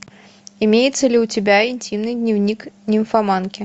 имеется ли у тебя интимный дневник нимфоманки